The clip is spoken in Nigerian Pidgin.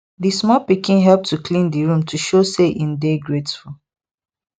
di small pikin help to clean di room to show say im dey grateful